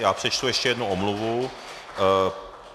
Já přečtu ještě jednu omluvu.